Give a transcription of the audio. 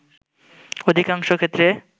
অধিকাংশ ক্ষেত্রে